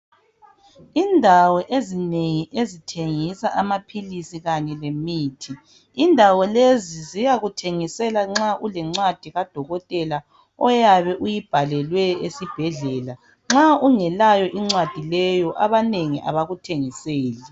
Indawo ezinengi ezithengisa amaphilisi kanye lemithi indawo lezi ziyakuthengisela nxa ulencwadi kadokotela oyabe uyibhalelwe esibhedlela nxa ungelayo incwadi leyo abanengi abakuthengiseli.